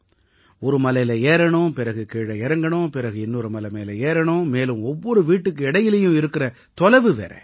ஒரு மலையில ஏறணும் பிறகு கீழ இறங்கணும் பிறகு இன்னொரு மலை மேல ஏறணும் மேலும் ஒவ்வொரு வீட்டுக்கு இடையிலயும் இருக்கற தொலைவு வேற